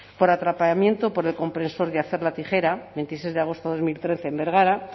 por atrapamiento por el compresor de hacer la tijera veintiséis de agosto de dos mil trece en bergara